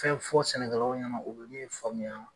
Fɛn fɔ sɛnɛkɛlaw ɲɛnɛ u bɛ min faamuya.